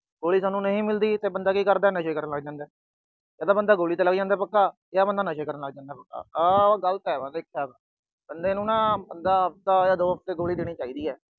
ਗੋਲੀ ਸਾਨੂੰ ਨਹੀਂ ਮਿਲਦੀ ਤਾਂ ਬੰਦਾ ਕੀ ਕਰਦਾ, ਨਸ਼ੇ ਕਰਨ ਲੱਗ ਜਾਂਦਾ। ਯਾ ਬੰਦਾ ਗੋਲੀ ਤੇ ਲੱਗ ਜਾਂਦਾ ਪੱਕਾ ਜਾਂ ਨਸ਼ੇ ਕਰਨ ਲੱਗ ਜਾਂਦਾ। ਆਹ ਗਲਤ ਏ ਬਸ ਇੱਕ ਬੰਦੇ ਨੂੰ ਆਪ ਦਾ ਹਫਤੇ ਜਾਂ ਦੋ ਹਫਤੇ ਗੋਲੀ ਦੇਣੀ ਚਾਹੀਦੀ ਏ।